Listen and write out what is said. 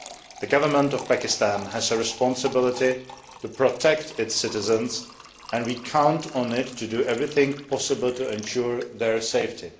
The government of Pakistan has a responsibility to protect its citizens, and we count on it to do everything possible to ensure their safety.